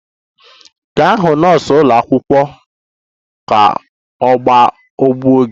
Gaa hụ nọọsụ ụlọ akwụkwọ ka a gwọọ gị!